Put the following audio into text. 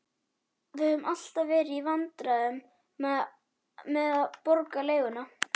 Við höfum alltaf verið í vandræðum með að borga leiguna.